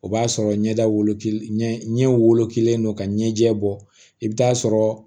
O b'a sɔrɔ ɲɛda wolo ɲɛ wolokilen don ka ɲɛjɛ bɔ i bɛ taa sɔrɔ